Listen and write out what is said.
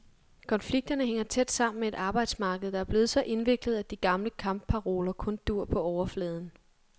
Konflikterne hænger tæt sammen med et arbejdsmarked, der er blevet så indviklet, at de gamle kampparoler kun duer på overfladen.